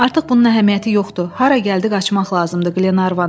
Artıq bunun əhəmiyyəti yoxdur, hara gəldi qaçmaq lazımdır, Qlenarvan dedi.